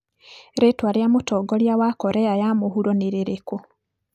Rĩĩtwa rĩa Mũtongoria wa Korea ya mũhuro nĩ rĩrĩkũ?